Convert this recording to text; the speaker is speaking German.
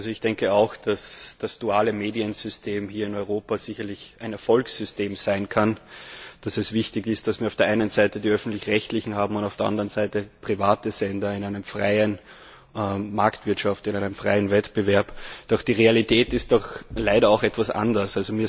Ich denke auch, dass das duale Mediensystem hier in Europa sicherlich ein Erfolgssystem sein kann und dass es wichtig ist, dass wir auf der einen Seite die öffentlich rechtlichen und auf der anderen Seite die privaten Sender in einer freien Marktwirtschaft, in einem freien Wettbewerb haben. Doch die Realität ist leider etwas anders.